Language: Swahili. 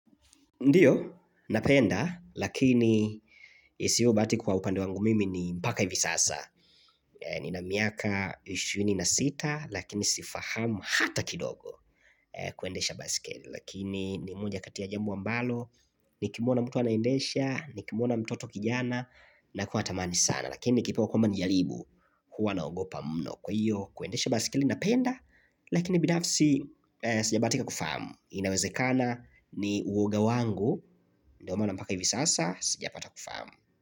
Ndio, napenda, lakini siyo bahati kwa upande wangu mimi ni mpaka hivi sasa. Ni na miaka 26, lakini sifahamu hata kidogo kuendesha basikeli. Lakini ni mmoja kati ya jambo ambalo, ni kimwona mtu anaendesha, ni kimwona mtoto kijana, na kuwa natamani sana. Lakini nikipewa kwamba nijaribu, huwa na ogopa mno. Kwa hiyo, kuendesha basikeli napenda, lakini binafsi sijabahatika kufahamu. Inawezekana ni uoga wangu Ndio maana mpaka hivi sasa Sijapata kufahamu.